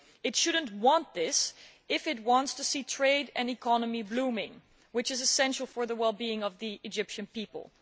It should not want this if it wants to see trade and the economy blooming, which is essential for the well being of the Egyptian people.